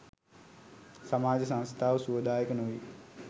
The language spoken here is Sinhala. සමාජ සංස්ථාව සුවදායක නොවේ.